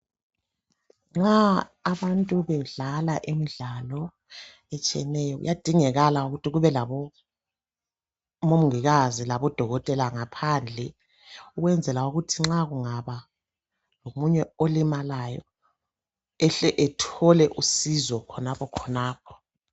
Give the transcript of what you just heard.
nxa abantu bedlala imidlalo etshiyeneyo kuyadingakala ukuthi kube labo mongikazi labo dokotela ngaphandle ukwenzela ukuthi nxa kungaba lomunye olimalayo ahle athole usizo khonapho khonapho